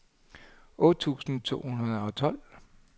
otte tusind to hundrede og tolv